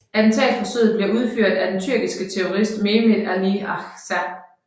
Attentatforsøget bliver udført af den tyrkiske terrorist Mehmet Ali Agca